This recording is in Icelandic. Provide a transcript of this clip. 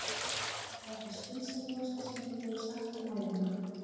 Þetta er það skynsamlegasta sem þú hefur sagt um ævina